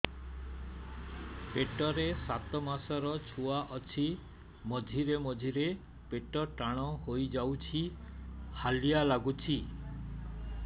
ପେଟ ରେ ସାତମାସର ଛୁଆ ଅଛି ମଝିରେ ମଝିରେ ପେଟ ଟାଣ ହେଇଯାଉଚି ହାଲିଆ ଲାଗୁଚି